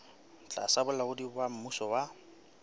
tlasa bolaodi ba mmuso wa